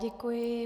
Děkuji.